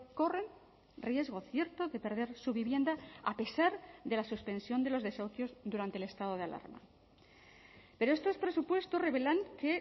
corren riesgo cierto de perder su vivienda a pesar de la suspensión de los desahucios durante el estado de alarma pero estos presupuestos revelan que